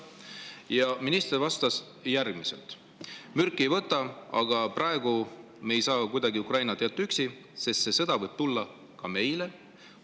" Ja minister vastas järgmiselt: "Mürki ei võta, aga praegu me ei saa kuidagi Ukrainat jätta üksi, sest see sõda võib tulla ka meile.